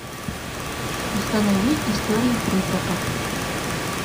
установи истории призраков